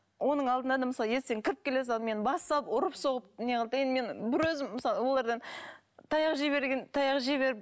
оның алдында да мысалы есіктен кіріп келе сала мені бас салып ұрып соғып не қылды да енді мен бір өзім мысалы олардан таяқ жей берген таяқ жей беріп